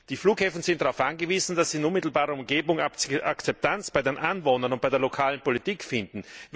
Die Flughäfen sind darauf angewiesen, dass sie in unmittelbarer Umgebung Akzeptanz bei den Anwohnern und bei der lokalen Politik finden.